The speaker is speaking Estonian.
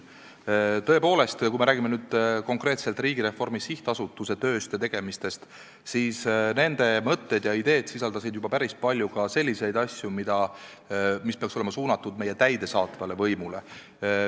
Tõepoolest, kui me räägime konkreetselt Riigireformi SA tööst ja tegemistest, siis nende mõtted ja ideed sisaldasid päris palju selliseid asju, mis peaksid olema suunatud täidesaatvale võimule.